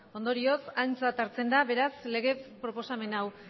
ondorioz aintzat hartzen da lege proposamen hau